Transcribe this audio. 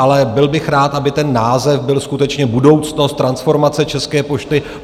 Ale byl bych rád, aby ten název byl skutečně Budoucnost transformace České pošty.